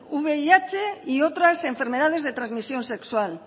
vih y otras enfermedades de transmisión sexual